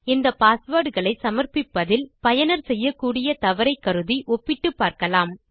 இந்த பாஸ்வேர்ட் களை சமர்பிப்பதில் பயனர் செய்யக்கூடிய தவறை கருதி ஒப்பிட்டு பார்க்கலாம்